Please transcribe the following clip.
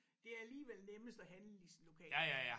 Det alligevel nemmest at handle i sin lokale